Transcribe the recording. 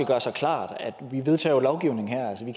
gøre sig klart at vi jo vedtager lovgivning her altså vi